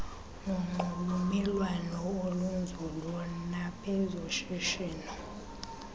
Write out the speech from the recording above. nonxulumelwano olunzulu nabezoshishino